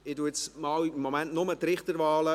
Ich verkünde im Moment nur die Richterwahlen.